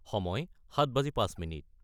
: সময় 1905